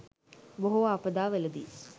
බොහෝ ආපදාවලදී